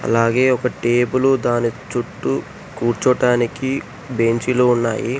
అలాగే ఒక టేబుల్ దాని చుట్టూ కూర్చోటానికి బెంచీలు ఉన్నాయి.